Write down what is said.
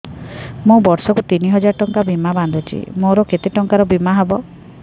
ମୁ ବର୍ଷ କୁ ତିନି ହଜାର ଟଙ୍କା ବୀମା ବାନ୍ଧୁଛି ମୋର କେତେ ଟଙ୍କାର ବୀମା ହବ